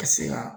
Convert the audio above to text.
Ka se ka